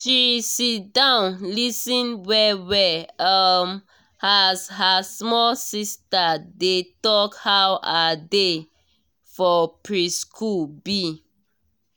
she sit down lis ten well well um as her small sister dey talk how her day for preschool be.